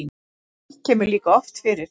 slíkt kemur líka oft fyrir